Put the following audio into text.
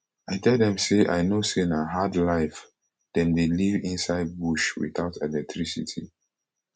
i tell dem say i know say na hard life dem dey live inside bush witout electricity